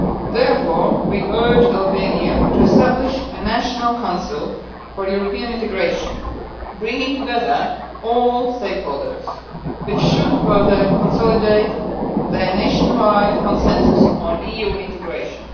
Therefore, we urge Albania to establish a National Council for European Integration, bringing together all stakeholders, which should further consolidate the nationwide consensus on EU integration.